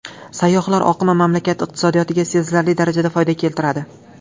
Sayyohlar oqimi mamlakat iqtisodiyotiga sezilarli darajada foyda keltiradi.